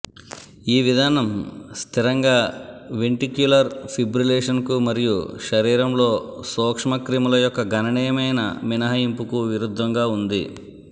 ఈ విధానం స్థిరంగా వెంటిక్యులర్ ఫిబ్రిలేషన్కు మరియు శరీరంలో సూక్ష్మక్రిముల యొక్క గణనీయమైన మినహాయింపుకు విరుద్ధంగా ఉంది